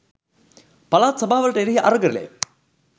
පළාත් සභාවලට එරෙහි අරගලය